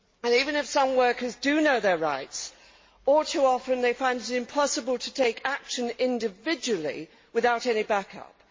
Even if some workers do know their rights, all too often they find it impossible to take action individually without any back up.